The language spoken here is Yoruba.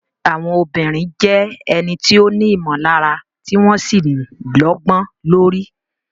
Àwọn obìnrin jẹ́ ẹni tí ó ní ìmọ̀lára tí wọ́n sì lọ́gbọ́n lórí.